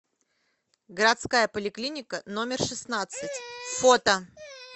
городская поликлиника номер шестнадцать фото